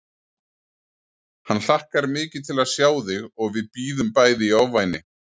Hann hlakkar mikið til að sjá þig og við bíðum bæði í ofvæni